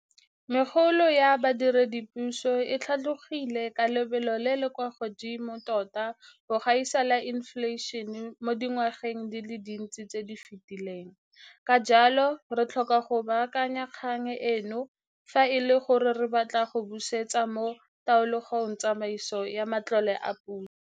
Megolo ya badiredipuso e tlhatlogile ka lebelo le le kwa godimo tota go gaisa la infleišene mo dingwageng di le dintsi tse di fetileng, ka jalo, re tlhoka go baakanya kgang eno fa e le gore re batla go busetsa mo taolong tsamaiso ya matlole a puso.